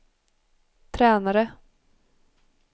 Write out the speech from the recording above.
tränare